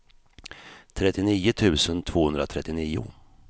trettionio tusen tvåhundratrettionio